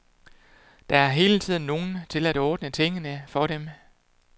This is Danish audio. Der er hele tiden nogen til at ordne tingene for dem.